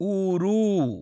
ऊरु